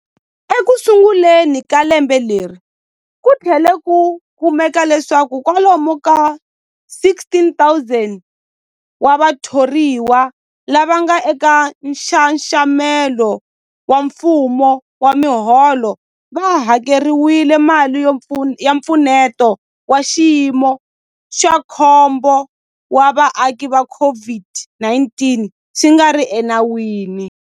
Ekusunguleni ka lembe leri, ku tlhele ku kumeka leswaku kwalomu ka 16,000 wa vathoriwa lava nga eka nxaxamelo wa mfumo wa miholo va hakeriwile mali ya Mpfuneto wa Xiyimo xa Khombo wa Vaaki ya COVID-19 swi nga ri enawini.